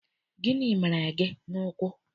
Gịnị mere gị n'ụkwụ?